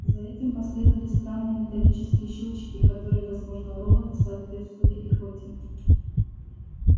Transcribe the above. за этим последовали странные металлические щелчки которые возможно у робота соответствовали икоте